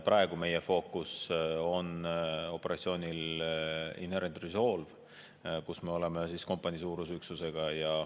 Praegu on meie fookus operatsioonil Inherent Resolve, kus me oleme kompaniisuuruse üksusega.